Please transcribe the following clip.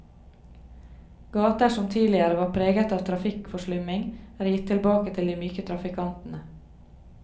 Gater som tidligere var preget av trafikkforslumming, er gitt tilbake til de myke trafikantene.